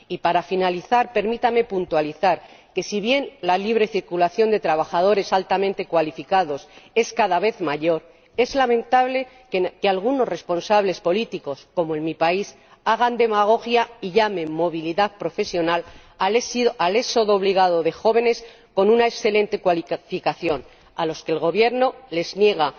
Y, para finalizar, permítame puntualizar que, si bien la libre circulación de trabajadores altamente cualificados es cada vez mayor, es lamentable que algunos responsables políticos, como en mi país, hagan demagogia y llamen movilidad profesional al éxodo obligado de jóvenes con una excelente cualificación, a los que el Gobierno les niega,